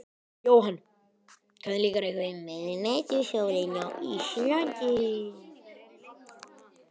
Jóhann: Hvernig líkar ykkur miðnætursólin á Íslandi?